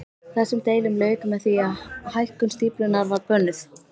Þessum deilum lauk með því að hækkun stíflunnar var bönnuð.